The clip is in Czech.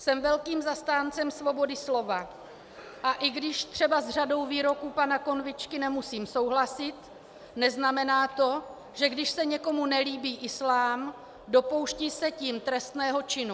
Jsem velkým zastáncem svobody slova, a i když třeba s řadou výroků pana Konvičky nemusím souhlasit, neznamená to, že když se někomu nelíbí islám, dopouští se tím trestného činu.